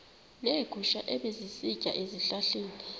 neegusha ebezisitya ezihlahleni